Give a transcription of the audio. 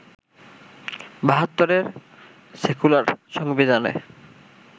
বাহাত্তরের সেক্যুলার সংবিধানে